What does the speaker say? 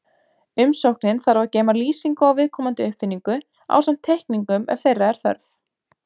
Umsóknin þarf að geyma lýsingu á viðkomandi uppfinningu, ásamt teikningum ef þeirra er þörf.